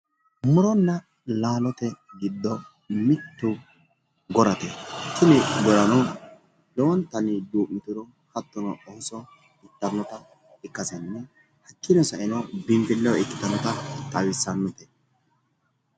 Muronna laalote giddo mittu gorate, tini gorano lowontanni duu'mitiro hattono ooso ittannota ikkasenni hakkiino saeno biinfilleho ikkitannota xawissannote.